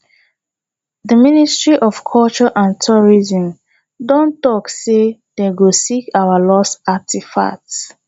the ministry of culture and tourism don talk say dey go seek our lost artefacts